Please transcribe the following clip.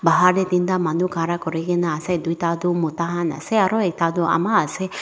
bahar te tinta manu khara kuri kene ase tuita toh mota khan ase aru ekta toh ama ase.